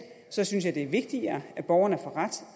så synes jeg det er vigtigere at borgeren får ret